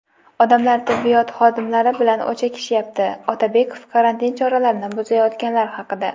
"Odamlar tibbiyot xodimlari bilan o‘chakishyapti" - Otabekov karantin choralarini buzayotganlar haqida.